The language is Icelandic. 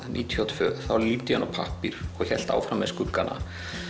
níutíu og tvö þá lít ég á þennan pappír og hélt áfram með skuggana